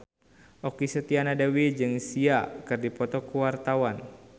Okky Setiana Dewi jeung Sia keur dipoto ku wartawan